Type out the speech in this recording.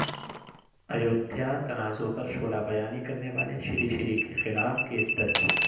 ایودھیا تنازع پرشعلہ بیانی کرنیوالے شری شری کیخلاف کیس درج